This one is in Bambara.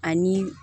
Ani